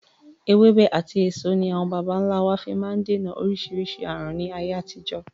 Ewébẹ̀ àti èso ní àwọn bàbà ńlá wa fi máa ń dènà oríṣiríṣi aàrùn ni ayé àtijọ́.